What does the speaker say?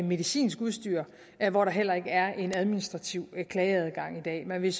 medicinsk udstyr hvor der heller ikke er en administrativ klageadgang i dag man vil